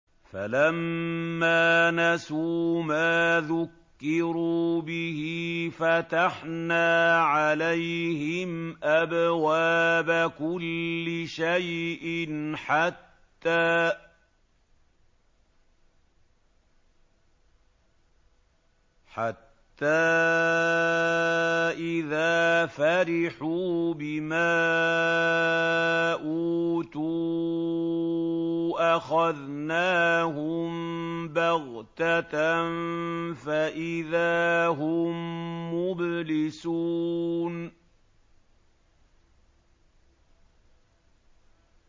فَلَمَّا نَسُوا مَا ذُكِّرُوا بِهِ فَتَحْنَا عَلَيْهِمْ أَبْوَابَ كُلِّ شَيْءٍ حَتَّىٰ إِذَا فَرِحُوا بِمَا أُوتُوا أَخَذْنَاهُم بَغْتَةً فَإِذَا هُم مُّبْلِسُونَ